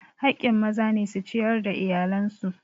Haƙƙin maza ne su ciyar da iyalan su.